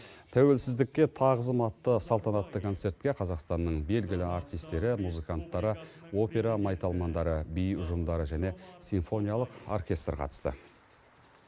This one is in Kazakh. тәуелсіздікке тағзым атты салтанатты концертке қазақстанның белгілі әртістері музыканттары опера майталмандары би ұжымдары және симфониялық оркестр қатысты